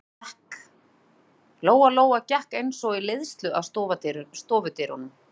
Lóa Lóa gekk eins og í leiðslu að stofudyrunum.